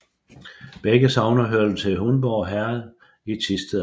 Begge sogne hørte til Hundborg Herred i Thisted Amt